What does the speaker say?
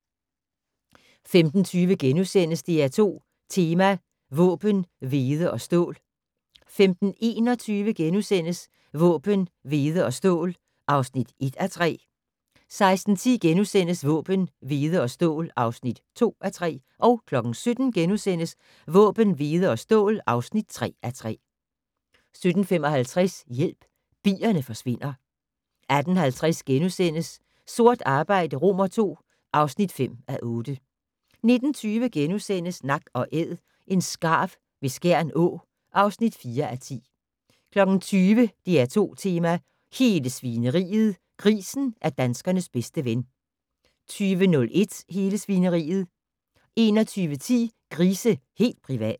15:20: DR2 Tema: Våben, hvede og stål * 15:21: Våben, hvede og stål (1:3)* 16:10: Våben, hvede og stål (2:3)* 17:00: Våben, hvede og stål (3:3)* 17:55: Hjælp - bierne forsvinder 18:50: Sort arbejde II (5:8)* 19:20: Nak & Æd - en skarv ved Skjern Å (4:10)* 20:00: DR2 Tema: Hele Svineriet - Grisen er danskernes bedste ven 20:01: Hele Svineriet 21:10: Grise - helt privat!